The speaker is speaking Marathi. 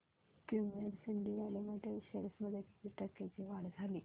क्युमिंस इंडिया लिमिटेड शेअर्स मध्ये किती टक्क्यांची वाढ झाली